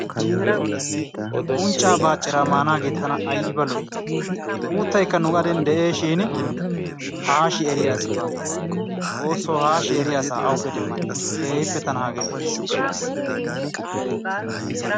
Unccaa bacciira maanaagee tana aybba lo'i uuttaykka nu gaden de'ees shin haashi eriya asi baa xoosso haashi eriya asa awuppe demmaneshsha! Keehippe tana hagee lo'ees.